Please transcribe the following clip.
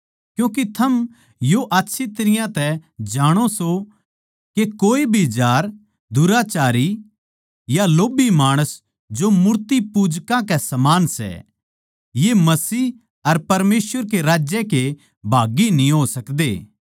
क्यूँके थम यो आच्छी तरियां तै जाणो सों के कोए भी जार दुराचारी या लोभी माणस जो मूर्तिपूजकां के समान सै ये मसीह अर परमेसवर के राज्य भागी न्ही हो सकदे